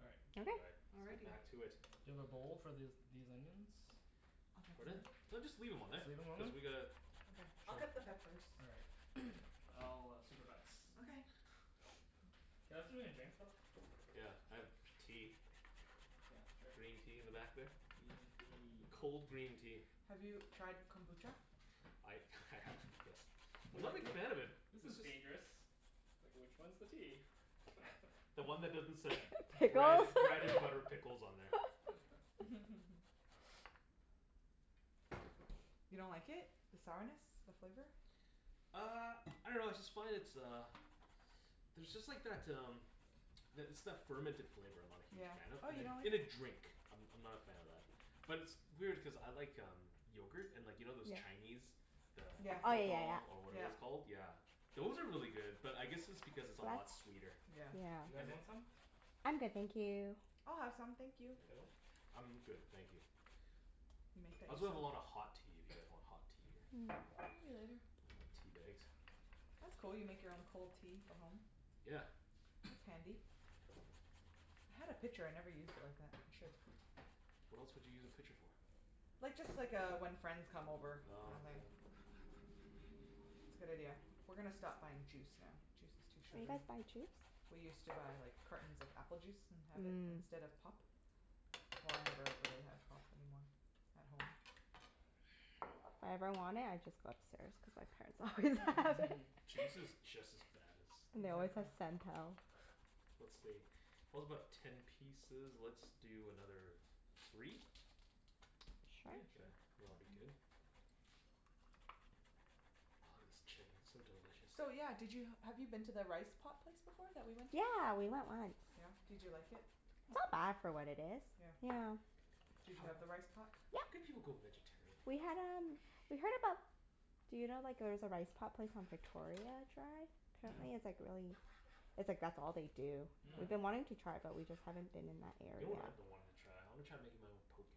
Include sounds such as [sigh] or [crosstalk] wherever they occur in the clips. All right. All Okay. right. Let's get Alrighty. back to it. Do you have a bowl for this these onions? Pardon? No. just leave them on Just leave them [inaudible] on Cuz there? we gotta Okay, I'll cut the peppers. All right. [noise] I'll supervise. Okay [noise] Can I have something to drink, Phil? Yeah, I have tea. Yeah, sure. Green tea in the back there. Green tea. Cold green tea. Have you tried kombucha? I I have, yes. I'm not a big fan of it. This is dangerous. Like, which one's the tea? [laughs] The one that doesn't said [laughs] bread Pickles [laughs] bread and butter pickles on there. [laughs] [laughs] You don't like it? The sourness? The flavor? Uh, I dunno I just find it's uh, there's just like that um that it's that fermented flavor I'm not a huge Yeah. fan of Oh, you don't like In a it? drink, I'm I'm not a fan of that. But it's- it's weird, cuz I like um, yogurt. And you know those Chinese, the Yeah, Oh, yeah, yeah, pathal, or whatever it's yeah. called. yeah. Yeah, those are really good. But I guess it's because it's a lot sweeter. That's You yeah. Yeah. guys want some? I'm good thank you. I'll have some, thank you. Phil? I'm good, thank you. You make that I also have yourself? a lot of hot tea, if you guys want hot tea or Maybe later. I want tea bags. That's cool, you make your own cold tea for home. Yeah. That's handy. I had a pitcher, I never used it like that. I should. What else would you use a pitcher for? Like, just like uh, when friends come over kinda thing. Oh, yeah. It's a good idea. We're gonna stop buying juice now. Juice is too You sugary. guys buy juice? We used to buy like cartons of apple juice and have it Mhm. instead of pop. Well, I never really have pop anymore at home. If I ever want it, I just go upstairs, cuz my parents always have it. [laughs] Juice [laughs] is just as bad And they as always Exactly. have Sental. Let's see. [inaudible] about ten pieces. Let's do another, three? Sure. Yeah, Yeah, sure. and it'll be good? Ah this chicken, so delicious. So yeah, did you have you been to the rice pot place before that we went to? Yeah, we went once. Yeah? did you like it? It's not bad for what it is. Yeah Yeah. Did you have the rice pot? How could Yeah. you go vegetarian? We had um we heard about. Do you know like there's a rice pot place on Victoria I tried? Mm- mm. Apparently, it's like really it's like that's all they do. We've Mhm. been wanting to Mhm. try it, but we just haven't been in that You know area. what I've been wanting to try? I want to try making my own. [inaudible] Poke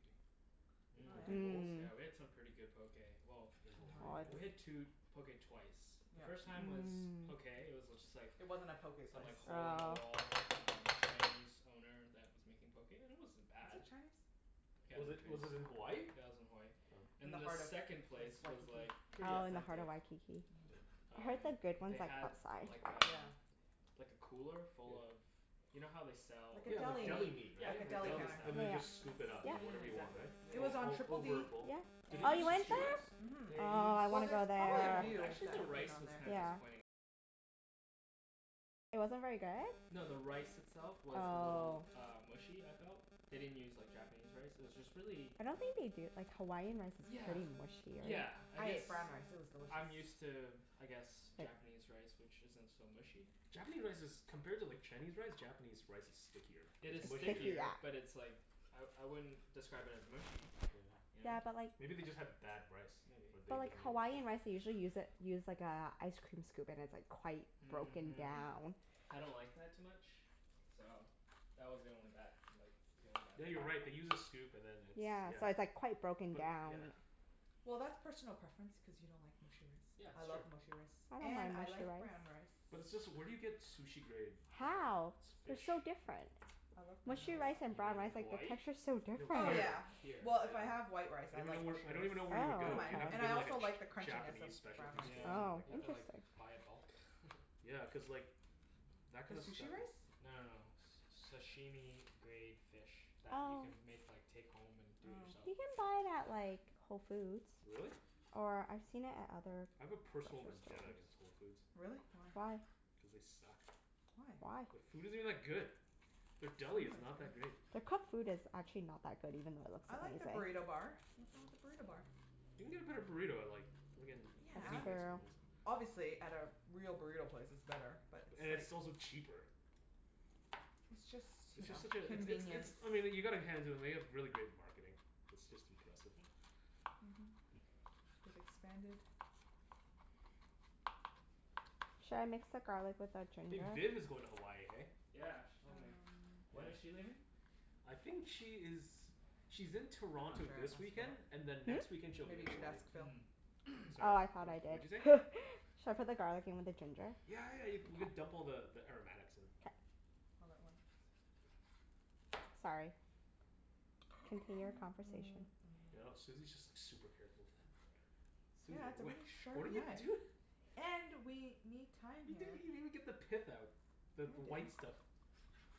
Oh Mhm. yeah? bowls? Mhm, yeah. Mhm. Yeah, we had some pretty good poke. Well, In we had two Hawaii [inaudible] poke twice. The Yeah. first time was okay. It was just like It wasn't a poke Some place. like hole in Mmm. the Oh. wall um, Cantonese owner that was making poke and it wasn't Was bad. it Chinese? Yeah it Was was it was it in Hawaii? Chinese. Yeah it was in Hawaii. Oh. In the And the heart of second Wa- place was Waikiki. like, pretty Oh, in the heart authentic. of Waikiki. Mhm. Oh. I heard Um, that good they ones had like um Yeah. [inaudible] like a cooler full of, [noise] you know how they sell Like a like Yeah, like deli deli Yeah, meat, meat. Like a right? like deli deli [inaudible] counter. And then they Yeah, Yeah, just scoop it yeah, up, yeah. like whatever yeah, you Yeah. want, exactly. Yeah, It was right? on All Triple D yeah. over a bowl. Yeah. Did and they Oh you use the Beach went sushi Street, rice? there? mhm. Oh, I Well, wanna there's go probably a there. few that have been on there. Yeah. No, the rice itself was a little Oh. uh mushy, I felt. They didn't use like Japanese rice, it was just really I don't think they do, like Hawaiian rice is Yeah, pretty mushier. yeah, I I guess ate brown rice. It was delicious. I'm used to, I guess Japanese rice which isn't so mushy. Japanese rice is compared to like Chinese rice, Japanese rice is stickier, It it's is It's sticky, mushier stickier, but yeah. it's like, I I wouldn't describe it as mushy, you know? Yeah. Yeah, but like Maybe they just had bad rice, Maybe or they But like Hawaiian rice, they [inaudible] usually use a use like a ice cream scoop and like it's quite broken Mhm down. I don't like that too much, so that was the only that like that was the only Yeah, you're right. They bad thing. use a scoop and then it's, Yeah, yeah. so it's like quite broken But, down. yeah. Well, that's personal preference, cuz you don't like mushy rice. Yeah I that's true. love mushy rice I don't and mind I mushy like brown rice. rice. But [inaudible] where do you get sushi-grade, uh How? They're fish? so different. I love brown In Mushy rice Hawa- and you brown mean rice. rice, in like the Hawaii? texture's so No, different. Oh here, yeah, here, Here. well, if I have yeah. white rice, I I don't even like kno- mushy I rice. don't even know where you would I don't go. mind. You'd have to Oh. And go I to also like the a crunchiness of Japanese brown specialty rice. store or Yeah, Oh, something like you have that. to like interesting. buy it bulk. [laughs] Yeah, cuz like that The kind of stuff sushi rice? No no it's no, s- sashimi grade fish that you Oh. can make like take home and do it Oh. yourself. You can buy it at like, Whole Foods. Really? Or I've seen it at other I have a grocery personal vendetta stores. against Whole Foods. Really? Why? Why? Cuz they suck. Why? Why? The food isn't that good. Their deli is not that [inaudible] great. Their cooked food is actually not that good, even though it looks I like the amazing. burrito bar. Nothin' wrong with the burrito bar. You can get a better burrito I like. Yeah. It's fair. [inaudible] Obviously, at like a real burrito place, it's better. But it's And it's like also cheaper. It's It's just you know, just such a it's it's convenience. it's I mean you gotta hand it to them, they have really great marketing. It's just impressive. [laughs] Mhm. They've expanded. Should I mix the garlic with the Hey, ginger? Vin is going to Hawaii, hey? Yeah, she told me. Um When When? is she leaving? I think she is, she's in I'm Toronto not this sure, weekend and ask then next Phillip. weekend, she'll be Maybe in you Hmm? should Hawaii. ask Phil. Mhm Sorry, Oh, I thought wha- I [noise] what'd you say? did [noise] Should I put the garlic in with the ginger? Yeah, yeah, you we can dump all the the aromatics in. K. All at once. Sorry, continue your conversation. I know, [noise] Susie's just like super careful with that. Susie, Yeah it's a wha- really [laughs] what are sharp you knife. doi-? [laughs] And, we need time You didn't here. even even get the pith No out, the I the didn't. white stuff.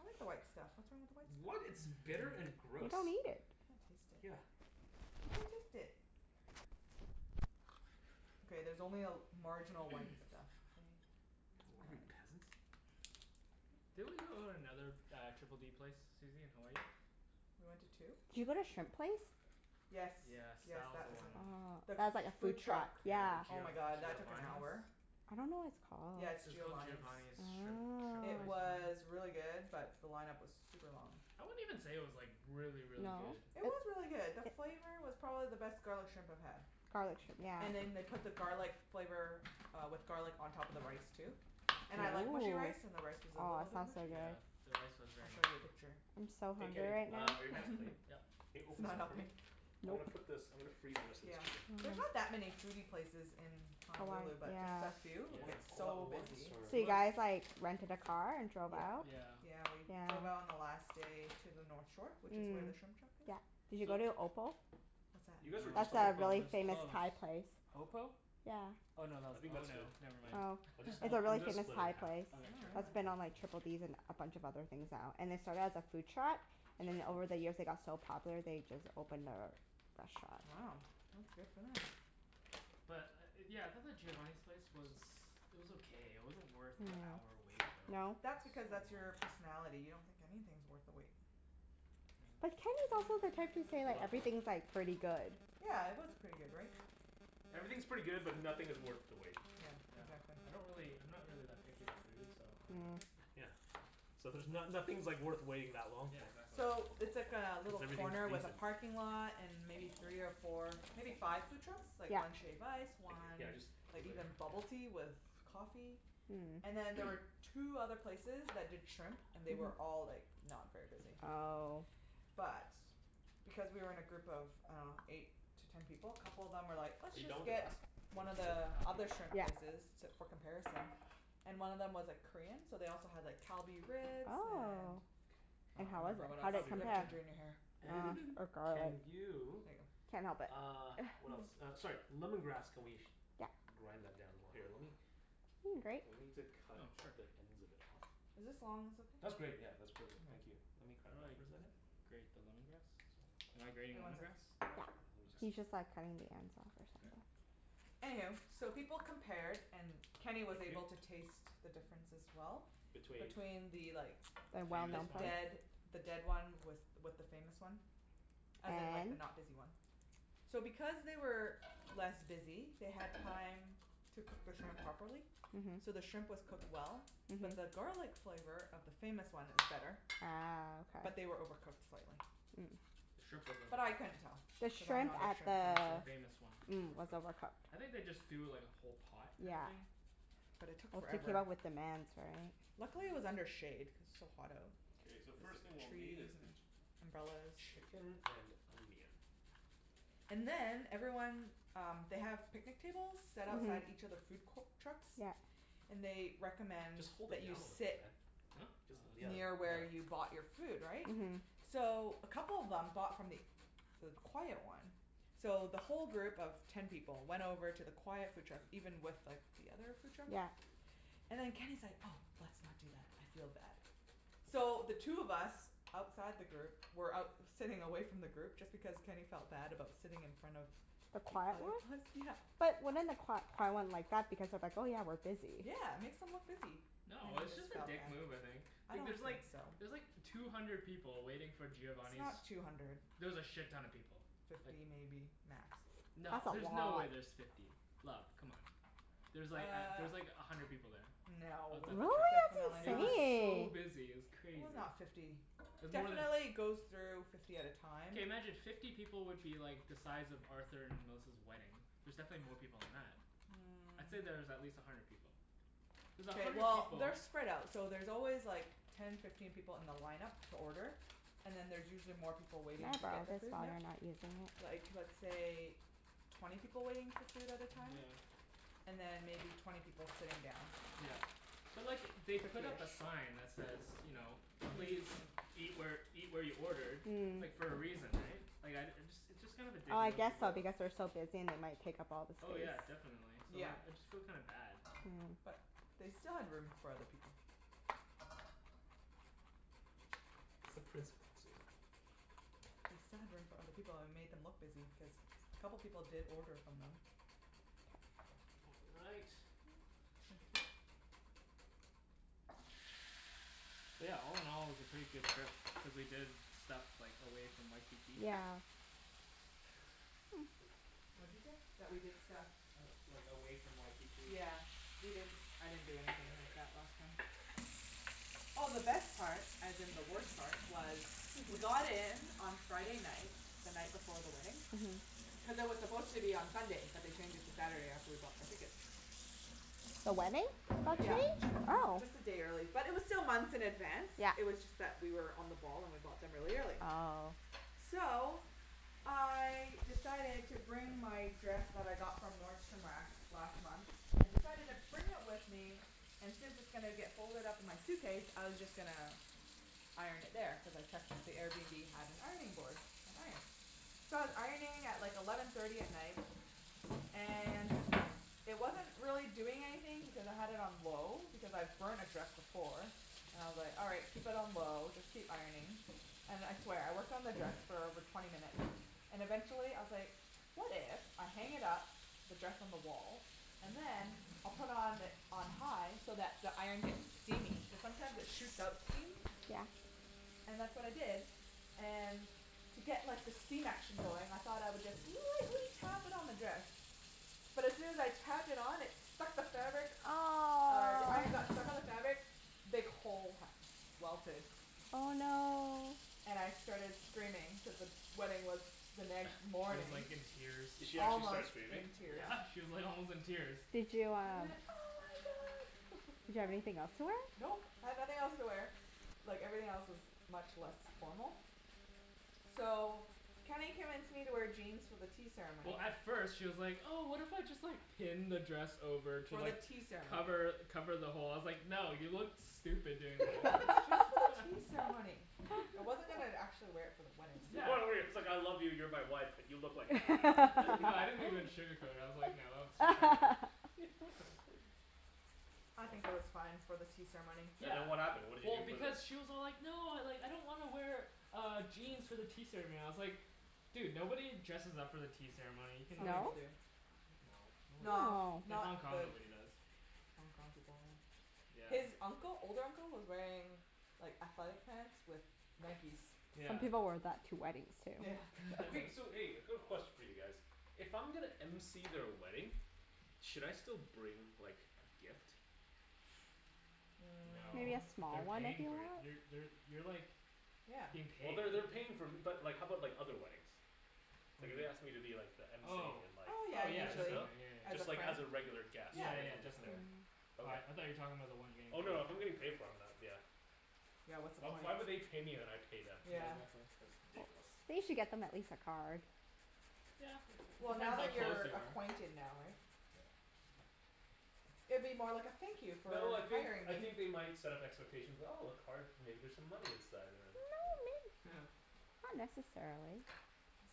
I like the white stuff. What's wrong with the white What? stuff? It's bitter and You gross." don't Can't [laughs] eat it. taste Yeah. it. You can't taste it. Okay, there's only a marginal white stuff, [noise] okay? It's What are we? fine. Peasants? Didn't we go to another uh, Triple D place Susie, in Hawaii? We went to two? Did you go to shrimp place? Yes, Yes, yes, that was that the was line it. Ah, The one. that's like a food food truck, truck. Yeah, the yeah. Oh Gio- my god that took an Giovani's. hour. I don't know what it's called. Yeah it's It was called Giovani's. Giovani's shrimp shrimp It place or Oh. was something? really good, but the line-up was super long. I wouldn't even say it was like, really, really No? good It was really good. The flavor was probably the best garlic shrimp I've had. Garlic shrimp, yeah. And then they put the garlic flavor uh, with garlic on top of the rice too. And I Yeah. like mushy rice and the rice was Ooh, a aw, little bit sounds so mushy. Yeah, good. the rice was I'll very show ya a mushy. picture. I'm so Hey hungry Kenny, right uh now are your hands clean? Yep. [laughs] [laughs] Hey it's open this not up for me? helping? I'm Nope. gonna put this I'm gonna freeze the rest of this Yeah. chicken. There's not that Hm. many foodie places in Hawaii, Honolulu, but just the yeah. few who Yeah. Want get it all at so once, busy. or? So It you was guys like, rented a car and drove Yeah, out? Yeah. yeah we drove out Yeah. on the last day to the north shore, which is Mhm, where the shrimp truck is. yeah. Did you So go to Opal? What's that? You guys were That's just on No, a the Opal, it really was famous closed. Thai place. Opal? Yeah. Oh, no tha- I think oh that's good, no, never m- mind. Oh, I'll jus- it's a [laughs] really I'm gonna famous split it Thai half. place Oh Okay, sure. That's wow. been on Triple Ds and a bunch of other things now. And they started as a food truck So I have and then to over open the this. years they got so popular, they just opened their restaurant. Wow, that's good for them. But uh yeah, I thought the Giovani's place was it was okay. It wasn't worth the hour Mhm. wait though. No? That's So because, long. that's your personality. You don't think anything's worth the wait. But Kenny's Yeah. also the type to say Hold like, on, hold on. everything's like, pretty good. Yeah, it was pretty good, right? Everything's pretty good, but nothing is worth the wait. Yeah, Yeah, exactly. I don't really I'm not really that picky with food so I don't know. Mm. Yeah, so there's no- nothing's like worth waiting that long Yeah, for. exactly. Cuz So, it's like a little everything's corner with decent. a parking lot and maybe three or four, maybe five food trucks? Like Yeah. one shave ice, [inaudible] one yeah just like leave it here, even bubble tea yeah. with [inaudible] coffee. And then there Mm. were two other places that did shrimp. And they were Mhm. all like, not very busy. Oh. But, because we were in a group of I dunno, eight to ten people, a couple of them were like, "Let's Are you just going to get one of the other shrimp places". I'll keep it [inaudible] Yeah. [inaudible] for comparison. And one of them was like Korean, so they also had like Kalbi ribs and Oh. And I And don't how was remember it? what How else. did it Kalbi You have ribs, compare? ginger in your hair. yeah. [laughs] And [laughs] or can garlic. There you, ya go. Can't help it uh what else? Uh [noise] sorry. [laughs] Lemon grass. Can we Yeah. grind that down more? Here lemme, Need a grate? we need to cut Oh sure. the ends of it off. Is this long ones That's okay? great yeah, All that's perfect. Thank you. Let right. me How grab do that I for a second. grate the lemon grass? Am I grating Wait, one lemon sec grass? Yeah, he's just Okay. like [inaudible] cutting the ends off or Okay. something. Anywho, so people compared and Thank Kenny you. was able to taste the difference as well. Between? between the like, the Famous one? dead the [inaudible] dead one with with the famous one. As in like the And? not busy one. So because they were less busy, they had time to cook the shrimp properly. Mhm. So the shrimp was cooked well, but the Mhm. garlic flavor of the famous one, it was better. Ah. But Okay. they were overcooked slightly. The shrimp Mm. was But I overcooked. couldn't tell The because I'm shrimp not a at shrimp the The connoisseur. famous one was mm was overcooked. overcooked. I think they just do like a whole pot kinda Yeah. thing. But it took forever. [inaudible] Luckily, it was Uh under shade, cuz it's so hot out. Okay, It's so the like first thing the we'll need trees is the, and umbrellas. chicken and onion. And then everyone um, they have picnic tables, set outside each Mhm. of the food co- trucks, Yeah. and they recommend Just hold that it you down sit [inaudible] Huh? Jus- yeah, near yeah. where you Oh [inaudible] bought your food, right? Mhm. So a couple of them bought from th- the quiet one. So the whole group of ten people went over to the quiet food truck even with like the other food truck. Yeah. And then Kenny's like, "Oh, let's not do that, I feel bad." So, the two of us outside the group were out sitting away from the group just because Kenny felt bad about sitting in front of The the quiet other one? bus, yeah. But wouldn't the qui- quiet one like that because they're like, "Oh yeah, we're busy." Yeah, it makes them look busy. No, Kenny it was just just a felt dick bad. move I think. I Like don't there's think like, so. there's like two hundred people waiting for It's Giovani's not two hundred. There was a shit-ton of people, like Fifty maybe, max. No, That's a there's no way lot. there's fifty, love, c'mon. There's like Uh, there's like a hundred people there. no. Outside the Really? truck. Definitely, It That's was not. so insane! busy, it was It was crazy. not fifty. It was more tha- Definitely goes through fifty at a time. Okay, imagine fifty people would be like the size of Arthur and Melissa's wedding. There's definitely more people than that. I'd say that there's at Mm. least a hundred people. There's a OK, hundred well people they're spread out. So there's always like ten, fifteen people in the line-up to order. And then there's usually more people Can waiting I to get borrow their this food, while yeah. you're not using Like, it? let's say twenty people waiting for food at a time? And Yeah. then maybe twenty people sitting down. Yeah. But look it, they put up a sign that says you know, please Fiftyish [inaudible] eat where eat where you ordered Mm. like, for a reason, eh? Like, I uh, it's just kind of a dick I move to guess go so, up because they're so busy and they might take up all the Oh space. yeah, definitely. So Yeah, like, I just feel kinda bad. but Oh. they still had room for other people. It's the principle too. They still had room for other people and we made them look busy because a couple of people did order from them. All right. Thank you. Yeah, all- in- all, it was a pretty good trip, cuz we did stuff like away from Waikiki. Yeah. [noise] What you say? That we did stuff? Like away from Waikiki. Yeah, we didn't I didn't do anything like that last time. Oh, the best part, as in the worst part was. We got [laughs] in on Friday night, the night before the wedding, Mhm. cuz it was supposed to be on Sunday but they changed it to Saturday after we bought our ticket. The wedding? The That wedding, yeah. Yeah, changed? Oh. just a day early. But it was still months in advance, Yeah. it was just that we were on the ball and we bought them really early. Oh. So, I decided to bring my dress that I got from Nordstrom Rack last month. I decided to bring it with me and since it's gonna get folded up in my suitcase, I was just gonna iron it there, cuz I checked that the Airbnb have an ironing board, an iron. So I was ironing at like eleven thirty at night and it wasn't really doing anything because I had it on low because I've burnt a dress before, and I was like, "All right, keep it on low, just keep ironing." And I swear, I worked on the dress for over twenty minutes and eventually I was like, "What if I hang it up, the dress on the wall, and then, I'll put on on high so that the iron gets steamy?" Cuz sometimes it shoots out steam. Yeah. And that's what I did. And to get like the steam action going, I thought I would just lightly tap it on the dress. But as soon as I tapped it on, it stuck to the fabric, uh the iron got Aw! stuck to the fabric big hole ha- welted Oh no. And I started screaming cuz the wedding was the She next was morning. like in tears. Did she actually start Almost screaming? in tears. Yeah, she was like almost in tears. Did you I uh went, "oh my god!" Did you have [laughs] anything else to wear? Nope, I had nothing else to wear. Like, everything else was much less formal. So, Kenny convinced me to wear jeans for the tea Well, ceremony. at first, she was like, "Oh, what if I just like pin the dress over to For the like tea ceremony. cover cover the hole?" I was like, "No, you look stupid doing Just for the that." tea [laughs] [laughs] ceremony. I wasn't even actually wear it for the wedding [inaudible] it's like I love you, you're my wife, but you look like an idiot. [laughs] No I didn't [laughs] even sugarcoat it. I was like, "No, that looks [noise] retarded" [laughs] [laughs] [laughs] I think it was fine for the tea ceremony. And then what happened? What did you Well, do for the? because she was all like, "No, I don't want to wear uh jeans for the tea ceremony." I was like, "Dude, nobody dresses up for the tea ceremony. You can Some like" people No? do. No, nobody No, does. No! In not Hong Kong, the nobody does. Hong Kong people, yeah. Yeah. His uncle old uncle was wearing like athletic pants with Nikes. Some Yeah. people wear that to weddings too. Yeah. Okay, so [laughs] hey, a quick question for you guys. If I'm gonna MC their wedding, should I still bring like a gift? [noise] No. Maybe a Mm. small They're one if paying you for it. want. You're they're you're like Yeah. being Well, paid. they're they're paying for but like how about like other weddings? What Like do if you they mean? asked me to be like the MC Oh in like, Oh yeah, oh should yeah, I usually. still? definitely. Yeah, yeah, As a Just like friend? as a yeah. regular guest, Yeah. Yeah, right? yeah I'm just there. definitely. Mhm. Okay. I I thought you were talking about the one you were getting Oh paid no, if I'm for. getting paid for, I'm not, yeah. Yeah, what's the point? Why would they pay me and I pay them? Yeah. [inaudible] that's why. That's ridiculous. They should get them at least a card. It Well, depends now how that close you're you are. acquainted now, right? Yeah. It'd be more like a thank you for No, I think hiring I me. think they might set up expectations, "Oh, a card, maybe there's some No, money inside," and then, yeah. may- [laughs] not necessarily.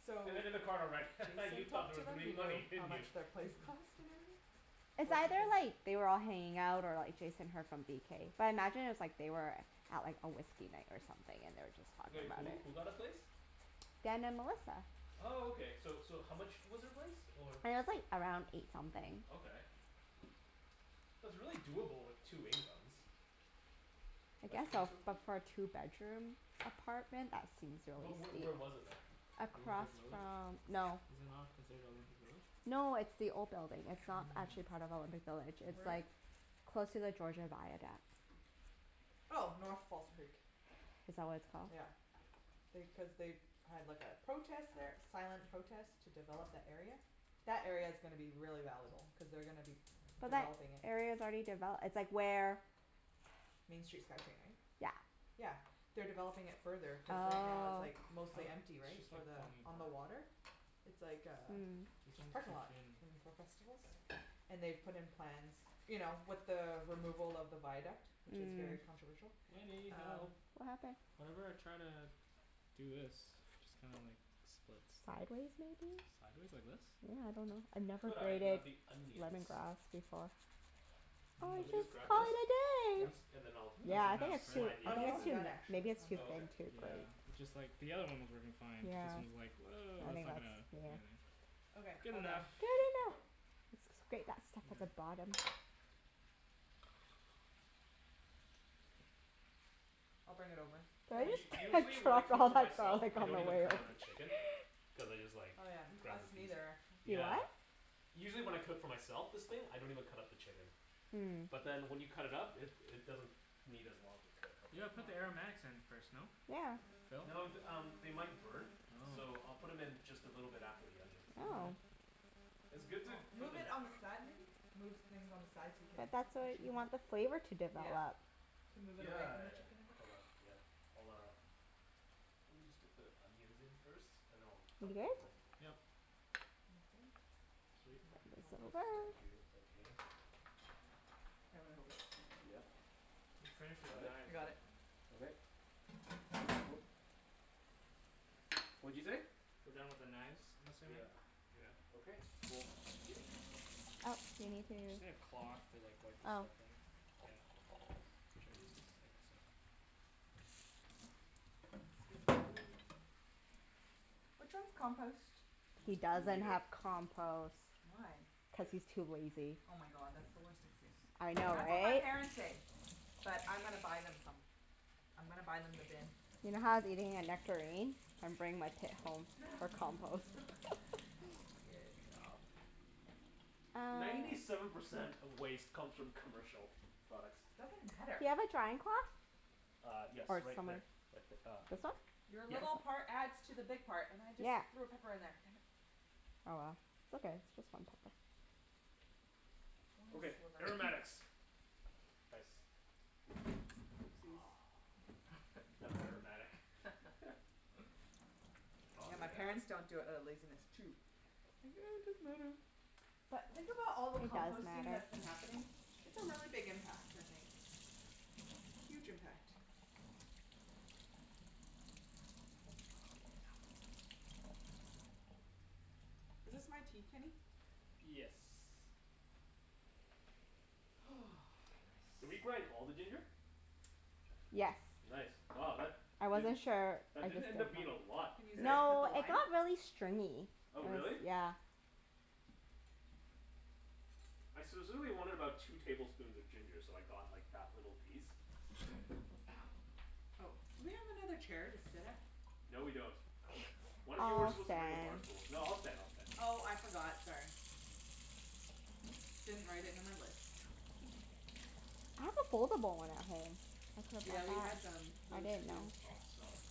So, And then in the card I'll write, "Ha ha, you Jason thought talked there to was gonna them. Do be you know money, how didn't you?" much their place cost and everything? [noise] It's either like, [inaudible] they were all hanging out or like Jason heard from BK. But I imagine it was like they were out like on whiskey night or something and they were just talking Like about who? it. Who got a place? Dan and Melissa. Oh, okay. So so how much was their place or? It was like around eight something. Okay, that's really doable with two incomes. I Like guess eight so, something? but for a two bedroom apartment that seems But really wh- steep. where was it though? Olympic Across Village. from, no. Is it not considered Olympic Village? No, it's the old building. It's not actually Mm. part of Olympic Village. I see. It's Where is like it? close to the Georgia Viaduct. Oh. North False Creek. Is that what it's called? Yeah. They, cuz they had like a protest there. Silent protest to develop that area. That area's gonna be really valuable cuz they're gonna be But that developing it. area's already devel- it's like where Main Street SkyTrain, right? Yeah. Yeah. They're developing it further cuz right now it's Oh. like Oh, mostly empty, it's right? just For like the, falling on apart. the water? It's like a Mm. This just one's parking too lot. thin. And for festivals. And they've put in plans, you know, with the removal of the viaduct, which is very Mm. controversial, Wenny, um help. What happened? Whenever I try to do this it just kinda like splits. Sideways, maybe? Sideways like this? Yeah, I dunno. I never Could I braided grab the onions? lemongrass before. Do Or you want Mm. me to just just grab call this? it a At day. Yep. least, and then I think I'll that's I'll Yeah, I like think half, it's too, right? slide the oh I'm maybe it's onions almost in? too, done, actually. maybe it's One too Oh, second. thin okay. to braid. Yeah, it just like, the other one was working fine but Yeah. this one's like, woah, I that's mean, not let's, gonna, yeah. anything. Okay. Good All done. enough. Good enough. Let's just grate that stuff at the Yeah. bottom. I'll bring it over. Did Phil? U- I usually just [laughs] when I drop cook all for that myself garlic I on the don't even [inaudible] way pretty over? cut up the much. chicken. [laughs] Cuz I just like Oh, yeah. [noise] Us grab the piece. neither, actually. You Yeah. what? Usually when I cook for myself, this thing, I don't even cut up the chicken. Mm. But then when you cut it up it it doesn't need as long to cook. You Okay. You gotta put the wanna aromatics [inaudible] in first, no? Yeah. Phil? No th- um, they might burn. Oh. So I'll put 'em in just a little bit after the onions. All Oh. right. It's good to Well, put move it them on the side, maybe? Move things on the side so you can But that's what, freshen you them up. want the flavor Yeah. to Yeah. develop. Could move it Yeah away yeah from the yeah. chicken a bit. Hold on. Yeah. I'll uh Let me just get the onions in first, and then I'll You dump good? those in. Yep. Sounds good. I Sweet. Bend can help you this compost. over. Thank you. Thank you. Here, let me hold it. Yep. You've finished with the Got it? I knives, eh? got it. Yeah. Okay. Woop. What'd you say? We're done with the knives, I'm assuming? Yeah. Yeah. Okay, cool. Thank you. Uh Oh, do you need to Just need a cloth to like wipe the Oh. stuffing. Yeah. Should I use this? I guess so. Excuse me. [noise] Which one's compost? He Me doesn't neither. have compost. Why? Yeah. Cuz he's too lazy. Oh my god, that's the worst excuse. I know, That's what my right? parents say. But I'm gonna buy them some. I'm gonna buy them the bin. You know how I was eating a nectarine? I'm bringing my pit home [laughs] for compost. [laughs] [laughs] Good job. Uh Ninety seven percent of waste comes from commercial products. Doesn't matter. Do you have a drying cloth? Uh yes. Or Right there. somewhere Right th- uh This one? Your Yeah. little part adds to the big part. And I just Yeah. threw a pepper in there. Damn it. Oh well, it's okay. It's just one pepper. One Okay. sliver. [noise] Aromatics. Nice. Oopsies. [noise] That's aromatic. [laughs] [laughs] Oh, Yeah, my parents yeah. don't do it outta laziness, too. Think, "Oh, it doesn't matter." But think about all the It does composting matter. that's been happening. It's a really big impact, I think. Huge impact. Oh Oh yeah. no. Is this my tea, Kenny? Yes. [noise] Did we Nice. grind all the ginger? Yes. Nice. Wow, that I wasn't didn't, sure. I that didn't just did end it up being a lot, Can use hey? that to cut No, the it lime? got really stringy. It Oh was, really? yeah. I specifically wanted about two tablespoons of ginger, so I got like that little piece. [noise] Ow. Oh, do we have another chair to sit at? No, we don't. One [noise] of you were I'll supposed to bring a bar stand. stool. No, I'll stand. I'll stand. Oh, I forgot. Sorry. Didn't write it in my list. [laughs] I have a foldable one at home. I could Yeah, have we had brought that. them, I those didn't too. know. Oh, smell that.